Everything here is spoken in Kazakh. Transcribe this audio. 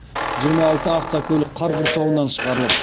жиырма алты автокөлік қар құрсауынан шығарылып